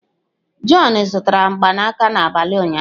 John zụtara mgbanaka n'abalị ụnyaahụ.